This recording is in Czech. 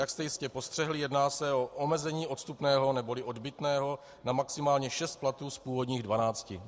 Jak jste jistě postřehli, jedná se o omezení odstupného neboli odbytného na maximálně šest platů z původních dvanácti.